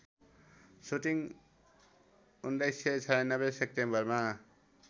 shooting १९९६ सेप्टेम्बरमा